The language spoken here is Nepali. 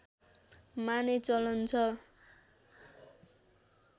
माने चलन छ